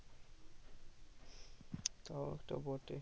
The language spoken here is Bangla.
তাও একটা বটে